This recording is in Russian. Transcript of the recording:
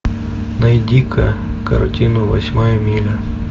найди ка картину восьмая миля